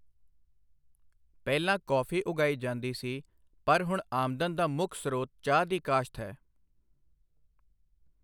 ਪਹਿਲਾਂ ਕੌਫੀ ਉਗਾਈ ਜਾਂਦੀ ਸੀ, ਪਰ ਹੁਣ ਆਮਦਨ ਦਾ ਮੁੱਖ ਸਰੋਤ ਚਾਹ ਦੀ ਕਾਸ਼ਤ ਹੈ।